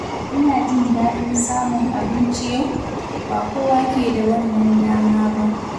Ina jin dadin samun abinci yau, ba kowa ke da wannan dama ba.